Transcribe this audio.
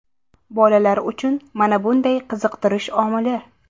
Bolalar uchun mana bunday qiziqtirish omili.